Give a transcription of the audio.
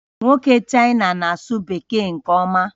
Nwoke China na-asụ Bekee nke ọma